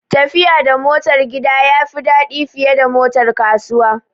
Tafiya da motar gida ya fi daɗi fiye da motar kasuwa